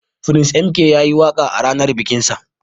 Prince M.K yayi waka a ranan bikin sa.